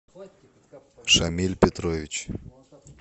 шамиль петрович